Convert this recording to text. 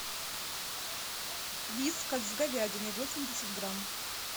вискас с говядиной восемьдесят грамм